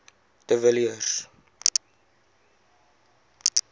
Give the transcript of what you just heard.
de villiers